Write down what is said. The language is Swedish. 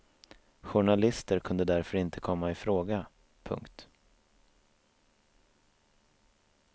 Journalister kunde därför inte komma i fråga. punkt